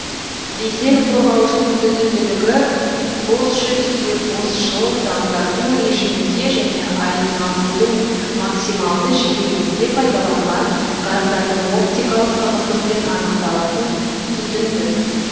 дизель қорғауыштың түтінділігі босжүрісте босжыл дамдату режимінде және айналудың максималды жиілігінде пайдаланған газдардың оптикалық тығыздықпен анықталатын түтіндік